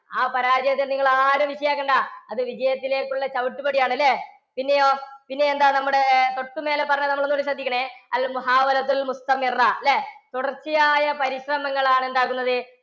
ആ പരാജയത്തെ നിങ്ങൾ ആരും വിഷയം ആക്കണ്ട. അത് വിജയത്തിലേക്കുള്ള ചവിട്ടുപടിയാണ് അല്ലേ? പിന്നെയോ, പിന്നെയെന്താ നമ്മുടെ തൊട്ടു മേലെ പറഞ്ഞത് നമ്മൾ ഒന്നു കൂടി ശ്രദ്ധിക്കണേ. തുടർച്ചയായ പരിശ്രമങ്ങളാണ് എന്താക്കുന്നത്?